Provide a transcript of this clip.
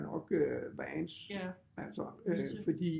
Nok øh Vance altså